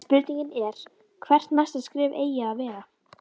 En spurningin er hvert næsta skref eigi að vera?